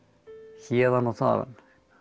héðan og þaðan